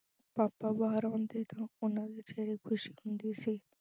papa ਬਾਹਰ ਆਉਂਦੇ ਤਾਂ ਉਹਨਾਂ ਵਿਚ ਖੁਸ਼ੀ ਹੁੰਦੀ ਸੀ।